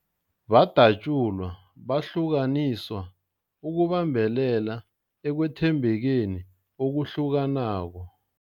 Badatjulwa, bahlukaniswa ukubambelela ekwethembekeni okuhlukanako.